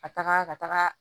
Ka taga ka taga